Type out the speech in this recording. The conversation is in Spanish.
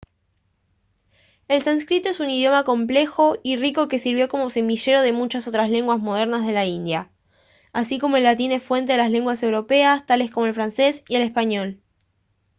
el sánscrito es un idioma complejo y rico que sirvió como semillero de muchas otras lenguas modernas de la india así como el latín es fuente de las lenguas europeas tales como el francés y el español